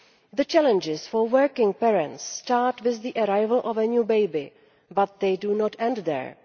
The challenges for working parents start with the arrival of a new baby, but they do not end there.